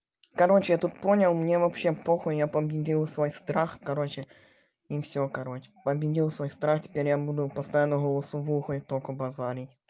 короче я тут понял мне вообще похуй я победил свой страх короче и всё короче победил свой страх теперь я буду постоянно голосовым только говорить